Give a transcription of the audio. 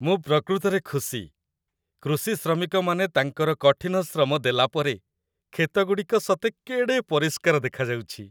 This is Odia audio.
ମୁଁ ପ୍ରକୃତରେ ଖୁସି, କୃଷି ଶ୍ରମିକମାନେ ତାଙ୍କର କଠିନ ଶ୍ରମ ଦେଲାପରେ, କ୍ଷେତଗୁଡ଼ିକ ସତେ କେଡ଼େ ପରିଷ୍କାର ଦେଖାଯାଉଛି!